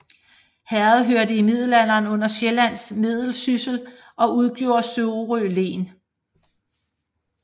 Herredet hørte i middelalderen under Sjællands Meddelsyssel og udgjorde Sorø Len